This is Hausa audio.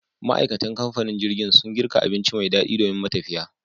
Ma, aikatan kamfanin jirgin sun girka abinci me daɗi domin matafiya